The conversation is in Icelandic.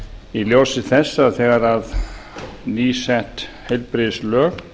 í ljósi þess að þegar nýsett heilbrigðislög